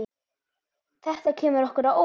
Þetta kemur okkur á óvart.